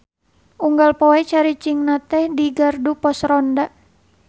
Unggal poe caricingna teh di gardu pos ronda.